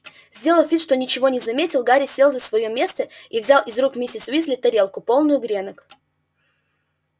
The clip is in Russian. сделав вид что ничего не заметил гарри сел за своё место и взял из рук миссис уизли тарелку полную гренок